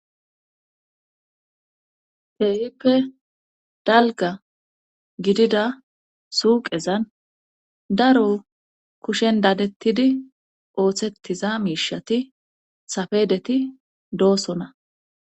Keehippe dalga gidida suuqezan daro kushen daadettidi ooththetiza miishati safedeti doosona